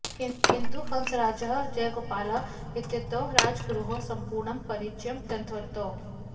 किन्तु हंसराजः जयगोपालः इत्येतौ राजगुरोः सम्पूर्णं परिचयं दत्तवन्तौ